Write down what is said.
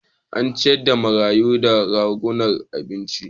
An ciyar da marayu da ragowar abinci.